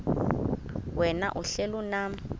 wena uhlel unam